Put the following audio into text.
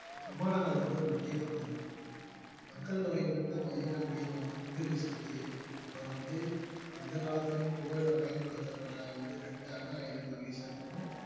விமானங்கள் வந்து ஒரு முக்கிய பங்கு மக்கள் தொகை நிறைந்த மையங்கள் மீது வந்து குண்டு வீசுறது அப்புறம் வந்து எந்த காலத்துலயும் புகையிலை பயன்படுத்தப்பட வந்து இரண்டு அணு ஆயுதங்களை வீசுறதுக்கும்